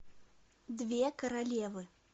две королевы